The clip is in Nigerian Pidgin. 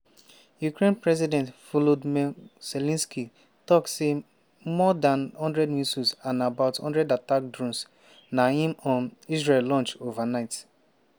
ukrainian president volodymyr zelensky tok say more dan one hundred missiles and about one hundred attack drones na im um russia launch overnight.